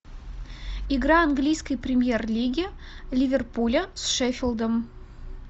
игра английской премьер лиги ливерпуля с шеффилдом